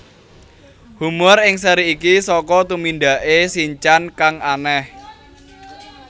Humor ing seri iki saka tumindake Shin chan kang aneh